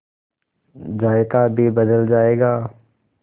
जायका भी बदल जाएगा